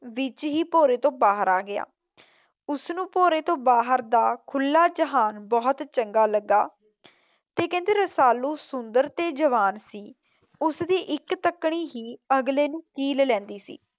ਵਿੱਚ ਹੀ ਭੋਰੇ ਤੋਂ ਬਾਹਰ ਆ ਗਿਆ। ਉਸ ਨੂੰ ਭੋਰੇ ਤੋਂ ਬਾਹਰ ਦੀ ਖੁੱਲਾਂ ਜਹਾਨ ਬਹੁਤ ਚੰਗਾ ਲੱਗਾ ਤੇ ਕਿੰਹਦੇ ਰਸਾਲੂ ਸੁੰਦਰ ਤੇ ਜਵਾਨ ਸੀ ਉਸਦੀ ਇੱਕ ਤੱਕਨੀ ਹੀ ਅਗਲੇ ਨੂੰ ਚੀਲ ਲੈੰਦੀ ਸੀ।